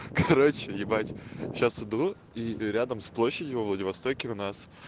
короче ебать сейчас иду и рядом с площадью во владивостоке у нас